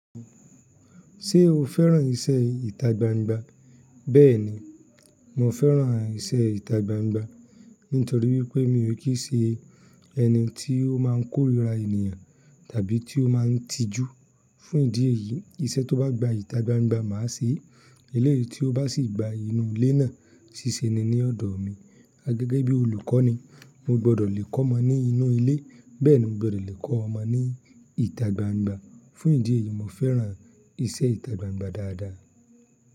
Ṣé o fẹ́ràn iṣẹ́ ìtagbangba? Bẹ́ẹ̀ni, mo fẹ́ràn iṣẹ́ ìtagbangba nítorí wípé mi ò kí ì ṣe ẹni tí ó máa ń kórìíra ènìyàn tàbí tí ó máa ń tijú. Fún ìdí èyí, iṣẹ́ tó bá gba ìtagbangba máa ṣe é. Ilé tí ó bá sì gba inú ilé náà ṣíṣe ni ní ọ̀dọ̀ mi. A gẹ́gẹ́ bí olùkọ́ni o gbọ́dọ̀ le kọ́ ọmọ ní inú ilé, bẹ́ẹ̀ni o gbọ́dọ̀ le kọ́ ọmọ ní ìtagbangba. Fún ìdí èyí, mo fẹ́ràn iṣẹ́ ìtagbangba dáadáa.